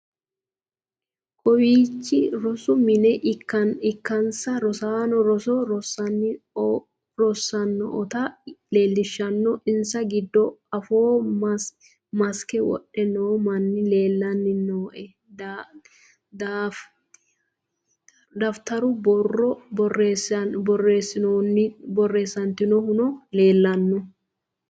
kawiichi rosu mine ikkasinna rosaanno roso rossanni oota leellishshanno insa giddo afooo masikke wodhe noo manni leellanni nooe dafitaru boroo borreessitannohuno leellanno